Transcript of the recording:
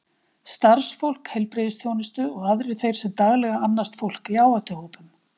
starfsfólk heilbrigðisþjónustu og aðrir þeir sem daglega annast fólk í áhættuhópum